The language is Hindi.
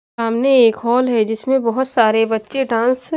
सामने एक हॉल है जिसमें बहोत सारे बच्चे डांस --